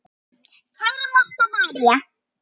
Kæra Marta María.